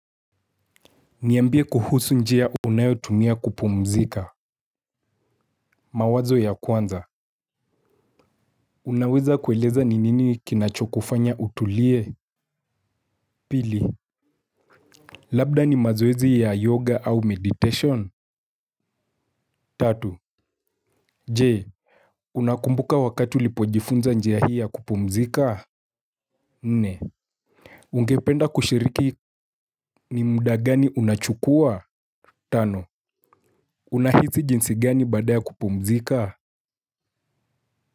Niambie kuhusu njia unayo tumia kupumzika. Mawazo ya kwanza. Unaweza kueleza ni nini kinachokufanya utulie. Pili labda ni mazoezi ya yoga au meditation. Tatu Jee Unakumbuka wakati ulipojifunza njia hii ya kupumzika. Nne ungependa kushiriki ni muda gani unachukua. Tano. Unahizi jinsi gani baada ya kupumzika. Kwa hivyo.